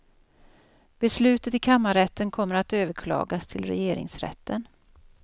Beslutet i kammarrätten kommer att överklagas till regeringsrätten.